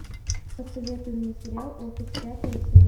посоветуй мне сериал офис пятая серия